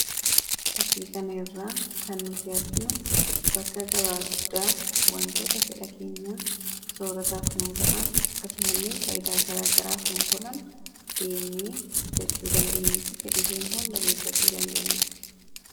Fakkii kana irraa kan nuti arginu bakka gabaa guddaa wantoota fedha keenya soorataaf nuu ta'an akkasuma illee faayidaa garaagaraaf nuuf oolan deemnee bitachuu dandeenyuufi fedhii keenya hunda guutachuu dandeenyuu dha.